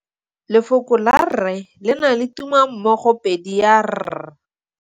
Lefoko la rre le na le tumammogôpedi ya, r.